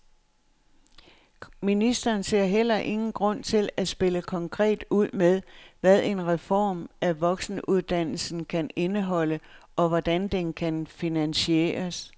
Ministeren ser heller ingen grund til at spille konkret ud med, hvad en reform af voksenuddannelserne kan indeholde, og hvordan den kan finansieres.